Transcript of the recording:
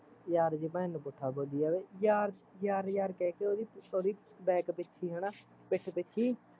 ਯਾਰ ਦੀ ਭੈਣ ਨੂੰ ਪੁੱਠਾ ਬੋਲੀ ਜਾਵੇ ਯਾਰ, ਯਾਰ ਯਾਰ ਕਹਿਕੇ ਓਹਦੀ back ਪਿੱਛੇ ਹੈਨਾ, ਪਿੱਠ ਪਿੱਛੇ ਈ